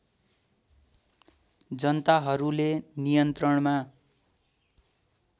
जनताहरूले नियन्त्रणमा